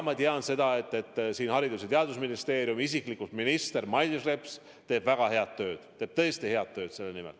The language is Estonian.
Ma tean, et Haridus- ja Teadusministeerium ja isiklikult minister Mailis Reps teeb väga head tööd, teeb tõesti head tööd selle nimel.